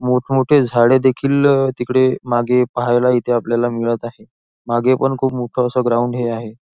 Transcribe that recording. मोठ मोठे झाडे देखील तिकडे मागे पाहायला इथे आपल्याला मिळत आहे मागे पण खूप मोठस ग्राउंड ही आहे.